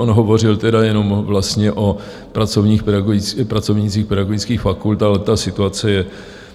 On hovořil tedy jenom vlastně o pracovnících pedagogických fakult, ale ta situace je